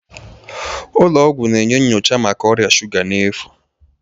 Ụlọ ọgwụ na-enye nyocha maka ọrịa shuga n'efu